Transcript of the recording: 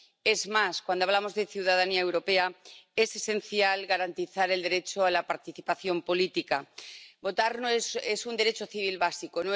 Es más, cuando hablamos de ciudadanía europea es esencial garantizar el derecho a la participación política. Votar es un derecho civil básico